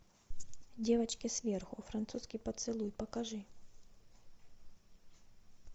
девочки сверху французский поцелуй покажи